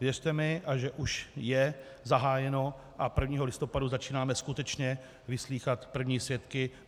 Věřte mi, že už je zahájeno, a 1. listopadu začínáme skutečně vyslýchat první svědky.